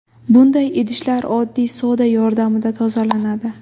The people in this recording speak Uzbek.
Bunday idishlar oddiy soda yordamida tozalanadi.